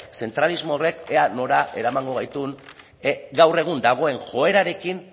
zentralismo horrek ea nora eramango gaituen gaur egun dagoen joerarekin